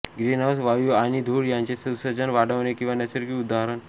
greenhouse वायू आणि धूळ यांचे उत्सर्जन वाढवणे किंवा नैसर्गिक उदा